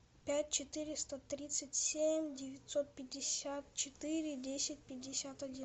пять четыреста тридцать семь девятьсот пятьдесят четыре десять пятьдесят один